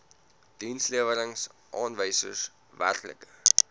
dienslewerings aanwysers werklike